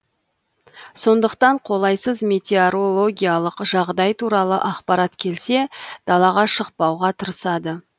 сондықтан қолайсыз метеорологиялық жағдай туралы ақпарат келсе далаға шықпауға тырысады